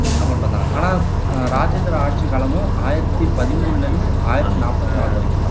கொண்டு வந்தாங்க ஆனா அஹ் ராஜேந்திர ஆட்சி காலமும் ஆயிரத்தி பதிமூணுலருந்து ஆயிரத்து நாப்பத்தி நாலு வரைக்கும் தான்